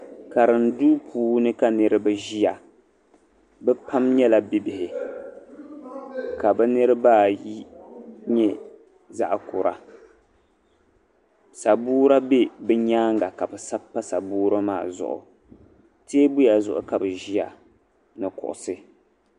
Karinduu puuni ka niriba ʒiya bɛ pam nyɛla bibihi ka bɛ niriba ayi nyɛ zaɣ' kura sabuura be bɛ nyaaŋa ka bɛ sabi pa sabuura maa zuɣu teebuya zuɣu ka bɛ ʒiya ni kuɣusi